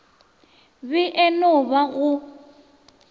be e no ba go